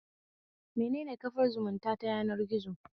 Menene kafar zumunta ta yanargizo?